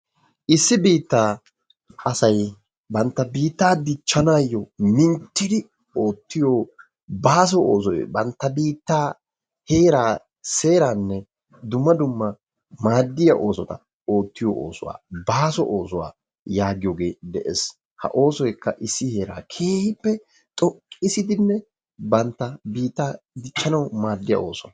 Issi biittaa asay bantta biittaa dichchanaayyo oottiyo baaso oosoy bantta biittaa, seeraanne maaddiya oosota oottiyo oosuwa baaso oosuwa yaagiyogee de'ees. Ha oosoykka issi heeraa keehippe xoqqissidinne bantta biittaa dichchanawu maaddiya ooso.